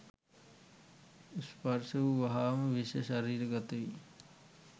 ස්පර්ශ වූ වහාම විෂ ශරීරගත වී